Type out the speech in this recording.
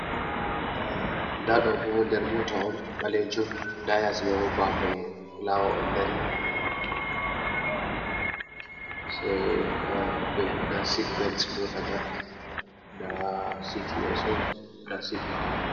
Nda ɗo bo nder mota on ɓalejum, nda yasi mai bo bafe fulawo on dari, sai nda sit bels mota man, nda city yesso nda sit ɓawo.